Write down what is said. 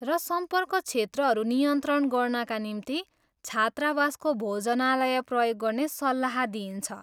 र सम्पर्क क्षेत्रहरू नियन्त्रण गर्नाका निम्ति छात्रावासको भोजनालय प्रयोग गर्ने सल्लाह दिइन्छ।